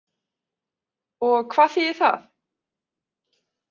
Og hvað þýðir það?